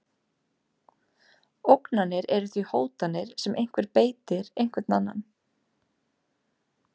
Ógnanir eru því hótanir sem einhver beitir einhvern annan.